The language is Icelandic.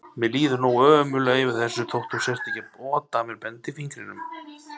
Mér líður nógu ömurlega yfir þessu þótt þú sért ekki að ota að mér bendifingrinum.